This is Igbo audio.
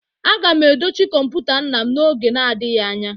Aga m edochi kọmputa nna m n'oge na-adịghị anya